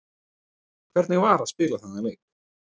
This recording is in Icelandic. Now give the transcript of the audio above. Hvernig var að spila þennan leik?